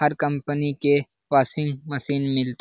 हर company के washing machine --